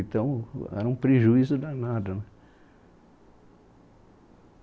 Então, era um prejuízo danado.